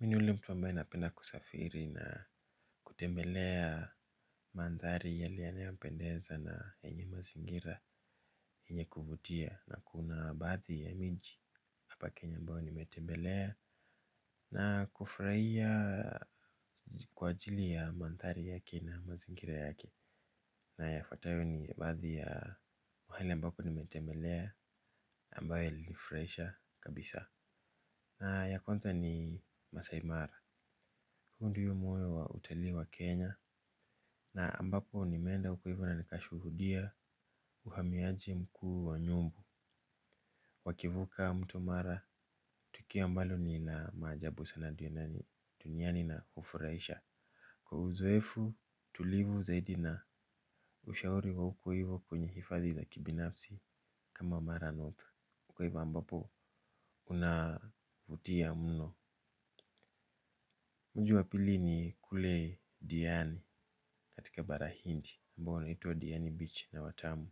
Mi ni ule mtu ambae napenda kusafiri na kutembelea mandhari yale yanayopendeza na yenye mazingira yenye kuvutia na kuna baadhi ya miji. Hapa kenya ambayo nimetembelea. Na kufurahia kwa ajili ya maandhari yake na mazingira yake. Na yafuatayo ni baadhi ya mahali ambapo nimetembelea ambayo ilinifurahisha kabisa. Na ya kwanza ni Maasai Mara. Huo ndio moyo wa utalii wa Kenya na ambapo nimeenda huko hivo na nikashuhudia uhamiaji mkuu wa nyumbu. Wakivuka mto mara tukio ambalo ni la maajabu sana duniani na hufurahisha kwa uzoefu tulivu zaidi na ushauri wa huko hivo kwenye hifadhi la kibinafsi kama mara north uko hivo ambapo kunavutia mno. Mji wa pili ni kule diani katika bara hindi ambao unaitwa Diani Beach na Watamu.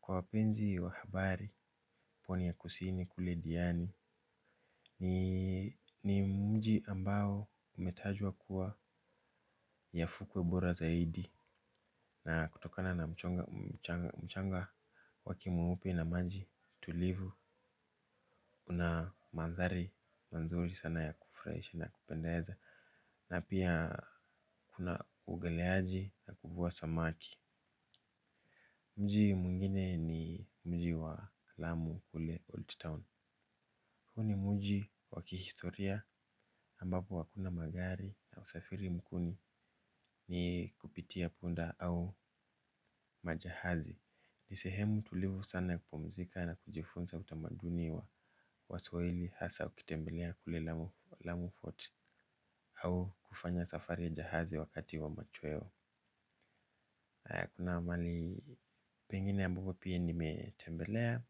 Kwa wapenzi wahabari pwani ya kusini kule Diani ni ni mji ambao umetajwa kuwa ya fukwe bora zaidi. Na kutokana na mchanga wake mweupe na maji tulivu una mandhari mazuri sana ya kufurahisha na kupendeza na pia kuna uogeleaji na kuvua samaki. Mji mwingine ni mji wa lamu kule Old Town. Huu ni mji wa kihistoria ambapo hakuna magari na usafiri mkuu ni ni kupitia punda au majahazi. Ni sehemu tulivu sana ya kupumzika na kujifunza utamaduni wa waswahili hasa au ukitembelea kule alamu fort au kufanya safari ya jahazi wakati wa machweo. Kuna mahali pengine ambapo pia nimetembelea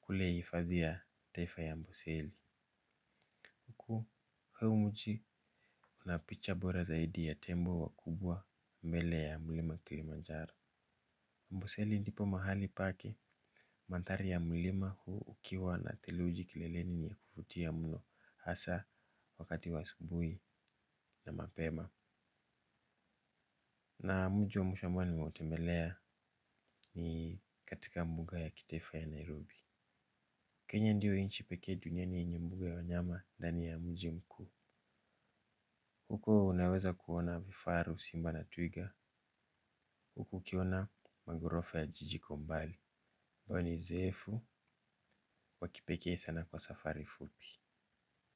kule hifadhi ya taifa ya amboseli huko huu mji una picha bora zaidi ya tembo wakubwa mbele ya mlima kilimanjaro amboseli ndipo mahali pake mandhari ya mlima huu ukiwa na theluji kileleni ni ya kuvutia mno hasa wakati wa asubuhi na mapema na mji wa mwisho ambao nimeutembelea ni katika mbuga ya kitaifa ya nairobi Kenya ndiyo nchi pekee duniani yenye mbuga ya wanyama ndani ya mji mkuu. Huko unaweza kuona vifaru simba na twiga. Huko ukiona magorofa ya jiji kwa umbali huwa ni zeefu, waki pekee sana kwa safari fupi.